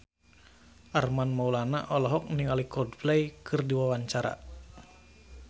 Armand Maulana olohok ningali Coldplay keur diwawancara